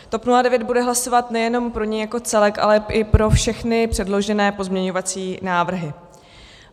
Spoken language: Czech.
TOP 09 bude hlasovat nejenom pro něj jako celek, ale i pro všechny předložené pozměňovací návrhy.